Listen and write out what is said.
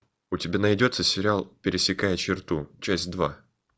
у тебя найдется сериал пересекая черту часть два